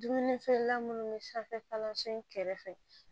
Dumuni feerela minnu bɛ sanfɛ kalanso in kɛrɛfɛ